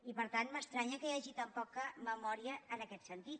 i per tant m’estranya que hi hagi tan poca memòria en aquest sentit